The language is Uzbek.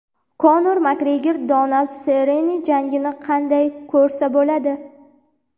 Konor Makgregor Donald Serrone jangini qanday ko‘rsa bo‘ladi?.